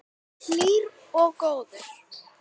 Hlýr og góður.